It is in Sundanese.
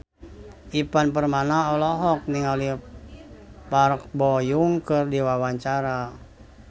Ivan Permana olohok ningali Park Bo Yung keur diwawancara